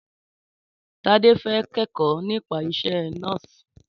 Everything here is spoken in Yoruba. Tádé fẹ́ kẹ́kọ̀ọ́ nípa isẹ́ nọ́ọ̀sì.